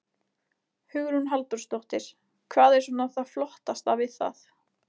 Hugrún Halldórsdóttir: Hvað er svona það flottasta við það?